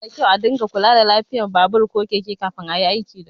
Yana da kyau a ringa kula da lafiyar babur ko keke kafin ayi aiki dasu.